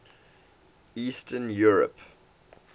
eastern europe